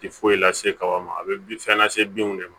Ti foyi lase kaba ma a bɛ bin fɛn lase binw de ma